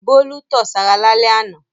Bólú tọ̀ sára lálẹ́ àná.